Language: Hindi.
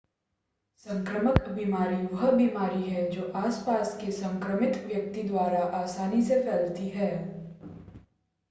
संक्रामक बीमारी वह बीमारी है जो आस-पास के संक्रमित व्यक्ति द्वारा आसानी से फैलती है